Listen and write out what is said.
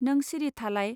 नों सिरि थालाय